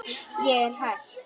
Ég er hætt.